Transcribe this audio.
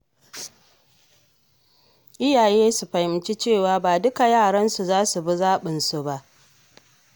Iyaye su fahimci cewa ba duka yaransu za su bi zaɓinsu ba.